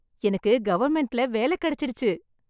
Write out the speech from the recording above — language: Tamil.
எனக்கு கவர்மெண்ட்ல வேலை கிடைச்சிடுச்சு.